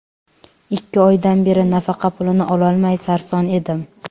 Ikki oydan beri nafaqa pulini ololmay sarson edim.